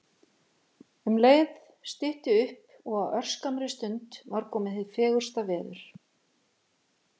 Um leið stytti upp og á örskammri stund var komið hið fegursta veður.